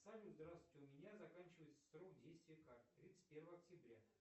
салют здравствуйте у меня заканчивается срок действия карты тридцать первого октября